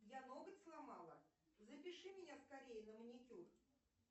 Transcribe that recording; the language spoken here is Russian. я ноготь сломала запиши меня скорей на маникюр